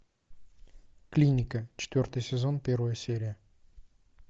клиника четвертый сезон первая серия